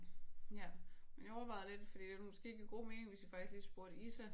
Ja men jeg overvejede lidt fordi det ville måske give god mening hvis vi faktisk lige spurgte Isa